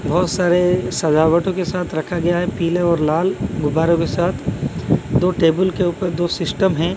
बहोत सारे सजावटो के साथ रखा गया है पीले और लाल गुब्बारों के साथ दो टेबल के ऊपर दो सिस्टम है।